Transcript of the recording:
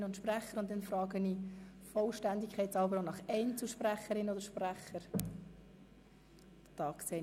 Somit frage ich der Vollständigkeit halber, ob das Wort seitens von Einzelsprecherinnen oder -sprechern gewünscht wird.